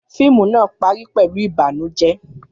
Fíìmù náà parí pẹ̀lú ìbànújẹ́.